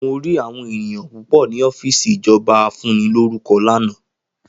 Mo rí àwọn ènìyàn púpò ni ọ́fìsì ìjọba afúnilórúkọ lana